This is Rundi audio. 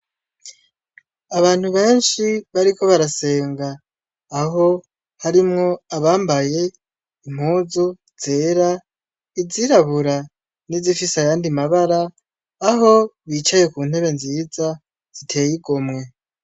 Abantu benshi bariko barasenga aho harimwo abambaye impuzu zera izirabura n'izifisayandi mabara aho bicaye ku ntebe nziza ziteye igomwe.